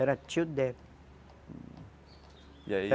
Era tio e aí